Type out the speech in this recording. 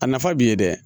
A nafa b'i ye dɛ